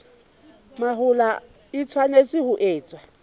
mahola e tshwanetse ho etswa